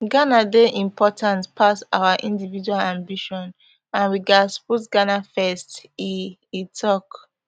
ghana dey important pass our individual ambition and we gatz put ghana first e e tok